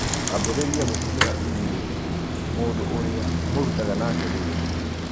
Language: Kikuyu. ambĩrĩria gũtũmĩra i-mīrū mũndũ ũria mũrutaga nake wĩra